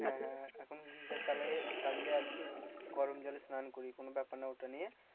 হ্যাঁ হ্যাঁ এখন geyser চালায়ে, চালিয়ে আর কি গরম জলে স্নান করি কোনো ব্যাপার না ওটা নিয়ে